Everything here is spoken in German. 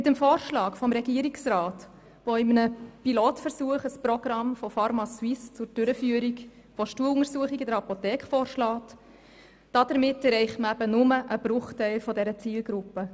Mit dem Vorschlag des Regierungsrats, der in einem Pilotversuch ein Programm von pharmaSuisse zur Durchführung von Stuhluntersuchungen vorschlägt, erreicht man nur einen Bruchteil der Zielgruppe.